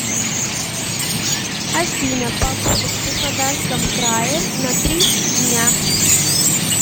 афина погода в краснодарском крае на три дня